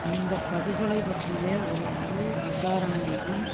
இந்த படுகொலை பற்றிய ஒரு முழு விசாரணையையும்